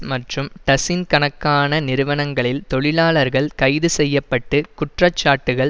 மற்றும் டசின் கணக்கான நிறுவனங்களில் தொழிலாளர்கள் கைது செய்ய பட்டு குற்றச்சாட்டுக்கள்